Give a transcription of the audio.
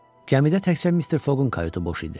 Gəmidə təkcə Mister Foqun kayutu boş idi.